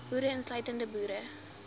boere insluitend boere